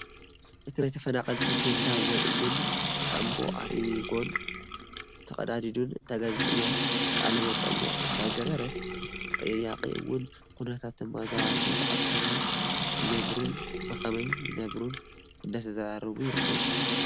እቲ ናይ ተፈናቀልቲ ቴንዳ ወይ እውን ካምቦ ኣሪጉን ተቀዳዲዱን እታ ጋዜጠኛ ቃለ መጠይቅ እንዳገበረት እቲ ተጠያቂ እውን ኩነታት ተመዛበልትን ኣብ ከመይ ይነብሩን ብከመይ ይነብሩን እንዳተዘራረቡ ይርከቡ፡፡